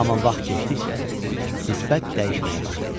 Amma vaxt keçdikcə nisbət dəyişməyə başladı.